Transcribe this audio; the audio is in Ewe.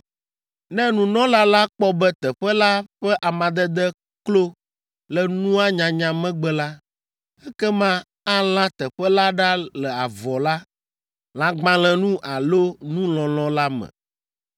Ne nunɔla la kpɔ be teƒe la ƒe amadede klo le nua nyanya megbe la, ekema alã teƒe la ɖa le avɔ la, lãgbalẽnu alo nu lɔlɔ̃ la me.